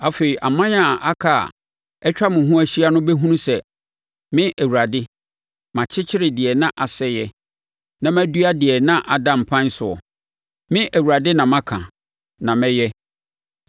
Afei aman a aka a atwa wo ho ahyia no bɛhunu sɛ me Awurade, makyekyere deɛ na asɛeɛ na madua wɔ deɛ na ada mpan soɔ, me Awurade na maka na mɛyɛ.’